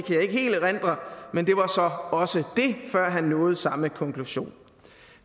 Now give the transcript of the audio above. helt erindre men det var så også det før han nåede samme konklusion